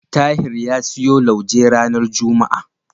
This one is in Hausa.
Tahir ya siyo lauje ranar juma'a.